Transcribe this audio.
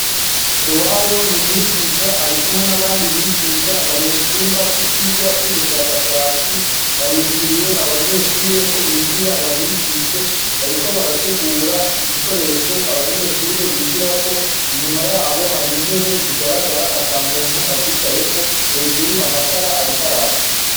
Nduwayo ni umwigisha ari kumwe n'abandi bigisha bari mu cumba c'ivyigwa vy'ubushakashatsi barindiriye abanyeshure ko binjira babigishe, bariko barategura ibikoresho abanyeshure bigirako, inyuma yabo hari intebe zigaragara ata muntu azicaye ko, hejuru amatara arikaraka.